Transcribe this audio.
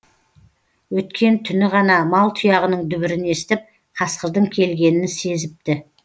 өткен түні ғана мал тұяғының дүбірін естіп қасқырдың келгенін сезіпті